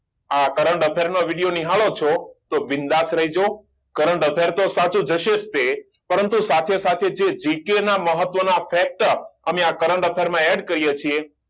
આ current affair નો video નિહાળો છો તો બીન્દાસ રેજો current affair તો સાચું હશે જ તે પરંતુ સાથે સાથે જે આ G. K મહત્વના અમે આ current affair માં add કરીએ છીએ